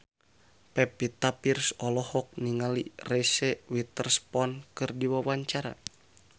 Pevita Pearce olohok ningali Reese Witherspoon keur diwawancara